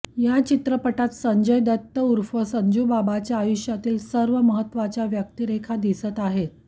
या चित्रपटात संजय दत्त ऊर्फ संजूबाबाच्या आयुष्यातील सर्व महत्त्वाच्या व्यक्तिरेखा दिसत आहेत